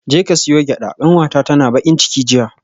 Jeka siyo gyada kanwata tana bakin ciki jiya